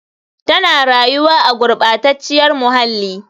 Tana rayuwa a gurɓacaciyar muhalli.